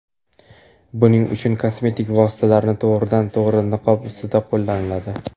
Buning uchun kosmetik vositalarni to‘g‘ridan to‘g‘ri niqob ustida qo‘lladi.